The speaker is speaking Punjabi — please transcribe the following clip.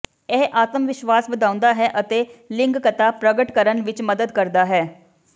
ਇਹ ਆਤਮਵਿਸ਼ਵਾਸ ਵਧਾਉਂਦਾ ਹੈ ਅਤੇ ਲਿੰਗਕਤਾ ਪ੍ਰਗਟ ਕਰਨ ਵਿਚ ਮਦਦ ਕਰਦਾ ਹੈ